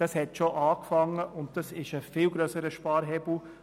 Das hat schon angefangen und ist ein viel grösserer Sparhebel.